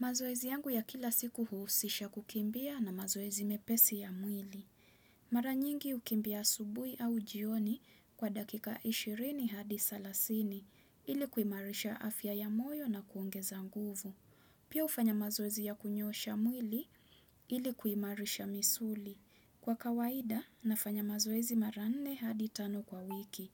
Mazoezi yangu ya kila siku huhusisha kukimbia na mazoezi mepesi ya mwili. Mara nyingi hukimbia asubuhi au jioni kwa dakika 20 hadi thelathini ili kuimarisha afya ya moyo na kuongeza nguvu. Pia hufanya mazoezi ya kunyoosha mwili ili kuimarisha misuli. Kwa kawaida nafanya mazoezi mara nne hadi tano kwa wiki